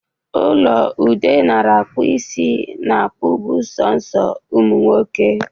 Ụlọ ebe Ude nara -akpụ isi na -akpụbụ soso ụmụ nwoke.